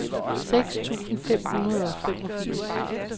seks tusind fem hundrede og femogfirs